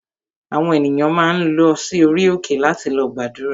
Àwọn ènìyàn máa ń lọ sí orí òkè láti lọ gbàdúrà